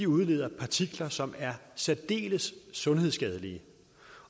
udleder partikler som er særdeles sundhedsskadelige